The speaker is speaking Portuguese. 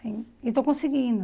E e estou conseguindo.